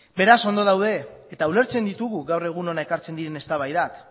beraz ondo daude eta ulertzen ditugu gaur egun hona ekartzen diren eztabaidak